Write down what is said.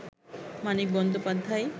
Manik Bandyopadhyay